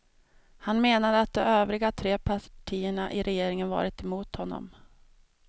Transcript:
Han menade att de övriga tre partierna i regeringen varit emot honom.